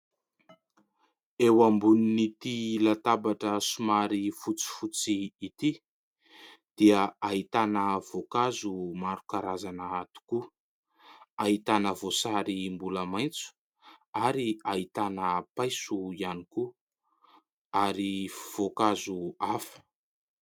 Eo ambonin'ity latabatra somary fotsifotsy ity dia ahitana voankazo maro karazana tokoa ; ahitana voasary mbola maitso ary ahitana paiso ihany koa ary voankazo hafa.